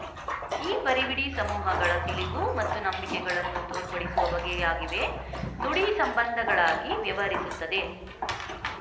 ಈ ಪರಿವಿಡಿ ಸಮೂಹಗಳ ತಿಳಿವು ಮತ್ತು ನಂಬಿಕೆಗಳನ್ನು ತೋರ್ಪಡಿಸುವ ಬಗೆಯಾಗಿವೆ ನುಡಿ ಸಂಬಂಧಗಳಾಗಿ ವ್ಯವಹರಿಸುತ್ತದೆ